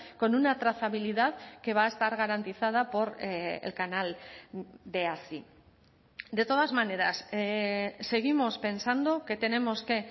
con una trazabilidad que va a estar garantizada por el canal de así de todas maneras seguimos pensando que tenemos que